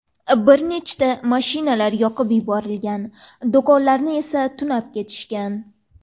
Bir nechta mashinalar yoqib yuborilgan, do‘konlarni esa tunab ketishgan.